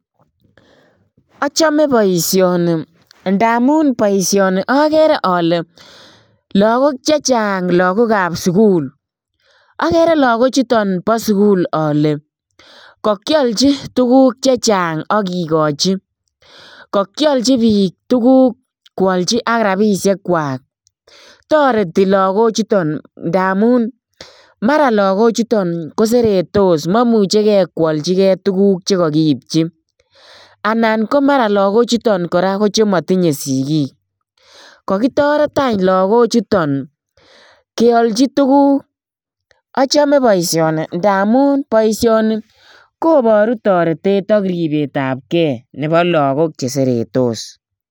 Achame boisoni. Ndaamun boisoni akere ale lagok chechang, lagokap sukul. Akere lagok chuton bo sukul ale kakialchi tuguk chechang akikochi. Kakialchi biik tuguk kwalchi ak rabisiek kwai. Toreti lagok chuton ndamun mara lagok chuton koseretos, memuchikei koalchikei tuguk che kakipchi. Anan ko mara lagok chuton kora ko chematinye sigik. Kakitoret anyun lagok chuton kealchi tuguk. Achame boisoni ndaamun boisoni koboru toretet ak ripetapkei nebo lagok che seretos.